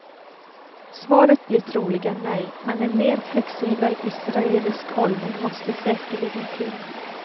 Svaret blir troligen nej, men en mer flexibel israelisk hållning måste säkerligen till.